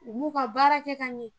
U b'u ka baara kɛ ka ɲɛ.